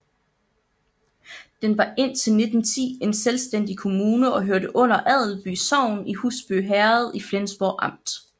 Den var indtil 1910 en selvstændig kommune og hørte under Adelby sogn i Husby Herred i Flensborg Amt